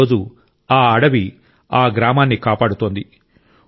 ఈ రోజు ఆ అడవి ఆ గ్రామాన్ని కాపాడుతోంది